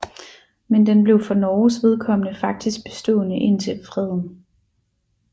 Men den blev for Norges vedkommende faktisk bestående indtil freden